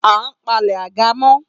A palẹ̀ àga mọ́